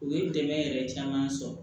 U ye dɛmɛ yɛrɛ caman sɔrɔ